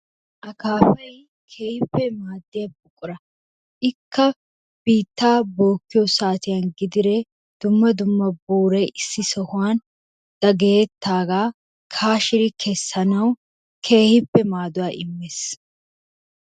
Akaapay keehippe maaddiya buqura. Ikka biittaa bookkiyo saatiyan gidiree dumma dumma buuray issi sohuwan dagayettaagaa kaashiri kessanawu keehippe maaduwa immees.